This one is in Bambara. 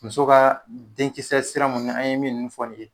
Muso kaa den kisɛ sira mun ɲa an ye min nn fɔ nin ye